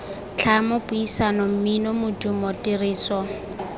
tlhamo puisano mmino modumo tiriso